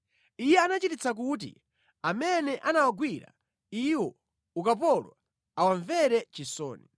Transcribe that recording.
Iye anachititsa kuti amene anawagwira iwo ukapolo awamvere chisoni.